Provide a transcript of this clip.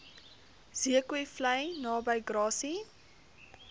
zeekoevlei naby grassy